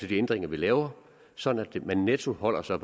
de ændringer vi laver sådan at man netto holder sig